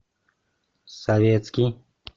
советский